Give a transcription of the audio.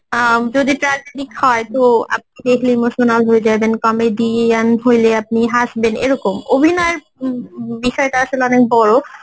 অ্যাঁ যদি tragetic হয়, তো আপনি দেখলে emotional হয়ে যাবেন Comedian হইলে আপনি হাসবেন এরকম অভিনয়ের উম বিষয়টা আসলে অনেক বড়ো